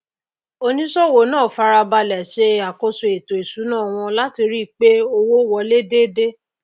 onísòwò náà farabalè se àkóso ètò ìsúná wọn lati ríi pé owó wolé déédé